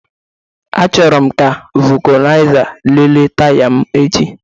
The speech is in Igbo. Achọrọ m ka vulcanizer lelee taya m echi